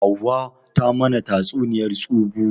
Hauwa ta mana tatsuniyar tsubu